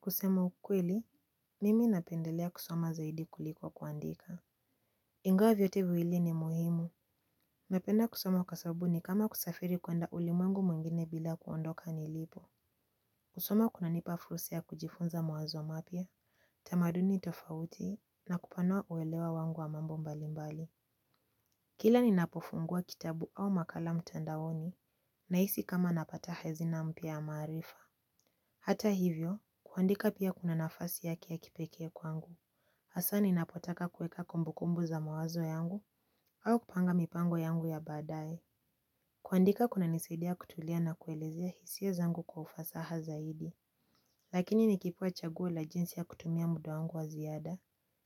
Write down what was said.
Kusema ukweli mimi napendelea kusoma zaidi kuliko kuandika. Ingawa vyote viwili ni muhimu. Napenda kusoma kwa sababu ni kama kusafiri kwenda ulimwengu mwigine bila kuondoka nilipo. Kusoma kunanipa fursa ya kujifunza mawazo mapya, tamaduni tofauti na kupanua uelewa wangu wa mambo mbali mbali. Kila ninapofungua kitabu au makala mtandaoni nahisi kama napata hazina mpya ya maarifa. Hata hivyo, kuandika pia kuna nafasi yake ya kipekee kwangu. Hasa ninapotaka kuweka kumbukumbu za mawazo yangu au kupanga mipango yangu ya baadaye. Kuandika kunanisaidia kutulia na kuelezea hisia zangu kwa ufasaha zaidi. Lakini nikipewa chaguo la jinsi ya kutumia muda wangu wa ziada